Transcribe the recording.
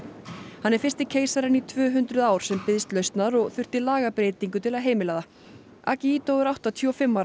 hann er fyrsti keisarinn í tvö hundruð ár sem biðst lausnar og þurfti lagabreytingu til að heimila það akihito er áttatíu og fimm ára